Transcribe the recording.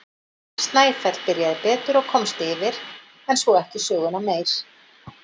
Snæfell byrjaði betur og komst yfir en svo ekki söguna meir.